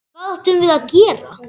Hvað áttum við að gera?